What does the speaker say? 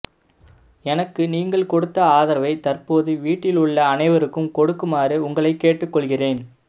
எனக்கு நீங்கள் கொடுத்த ஆதரவை தற்போது வீட்டில் உள்ள அனைவருக்கும் கொடுக்குமாறு உங்களை கேட்டுக்கொள்கிறேன்